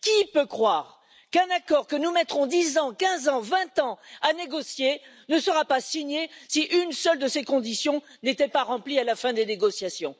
Qui peut croire qu'un accord que nous mettrons 10 ans, 15 ans, 20 ans à négocier ne sera pas signé, si une seule de ces conditions n'était pas remplie à la fin des négociations?